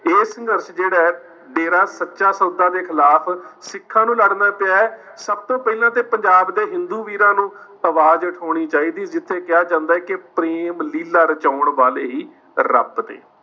ਇਹ ਸੰਘਰਸ਼ ਜਿਹੜਾ ਹੈ ਡੇਰਾ ਸੱਚਾ ਸੌਦਾ ਦੇ ਖਿਲਾਫ ਸਿੱਖਾਂ ਨੂੰ ਲੜਨਾ ਪਿਆ ਹੈ ਸਭ ਤੋਂ ਪਹਿਲਾਂ ਤੇ ਪੰਜਾਬ ਦੇ ਹਿੰਦੂ ਵੀਰਾਂ ਨੂੰ ਆਵਾਜ਼ ਉਠਾਉਣੀ ਚਾਹੀਦੀ ਹੈ ਜਿੱਥੇ ਕਿਹਾ ਜਾਂਦੇ ਹੈ ਕਿ ਪ੍ਰੇਮ ਲੀਲਾ ਰਚਾਉਣ ਵਾਲੇ ਹੀ ਰੱਬ ਨੇ।